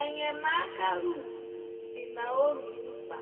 enyemaka Ruth dị Naomi mkpa.